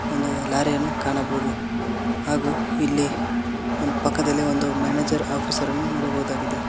ಒಂದು ಲಾರಿಯನ್ನು ಕಾಣಬಹುದು ಹಾಗು ಇಲ್ಲಿ ಪಕ್ಕದಲ್ಲಿ ಒನ್ ಒಂದು ಮ್ಯಾನೇಜರ್ ಆಫೀಸರ್ ಅನ್ನು ನೋಡಬಹುದಾಗಿದೆ.